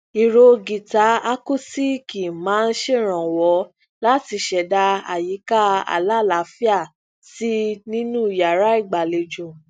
ìró gìtá akusiiki maa n ṣeranwọ lati ṣẹda ayika alalaafia si ninu yara igbalejo